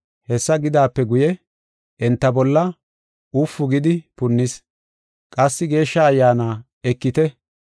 Hessa gidaape guye, enta bolla ufu gidi punnis. Qassi, “Geeshsha Ayyaana ekite.